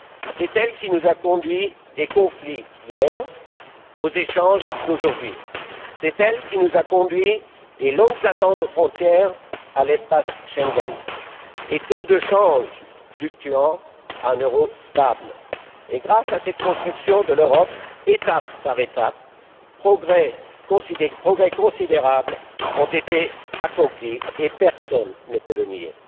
C'est elle qui nous a conduits des conflits d'hier aux échanges d'aujourd'hui. C'est elle qui nous a conduits des longues attentes aux frontières à l'espace Schengen, des taux de change fluctuants à un euro stable. Et, grâce à cette construction de l'Europe, étape par étape, des progrès considérables ont été accomplis, personne ne peut le nier.